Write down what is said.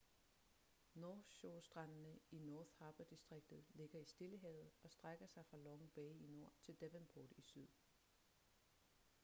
north shore-strandene i north harbour-distriktet ligger i stillehavet og strækker sig fra long bay i nord til devonport i syd